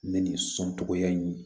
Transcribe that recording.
Ne ni sɔn tɔgɔya in